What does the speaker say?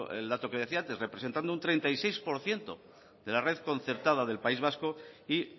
el dato que decía antes representando un treinta y seis por ciento de la red concertada del país vasco y